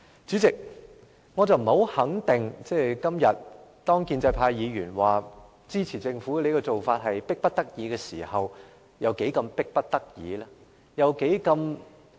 主席，建制派議員今天表示會支持政府這種迫不得已的做法，我不太肯定有多麼迫切？